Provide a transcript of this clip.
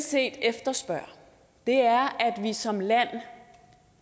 set efterspørger er at vi som land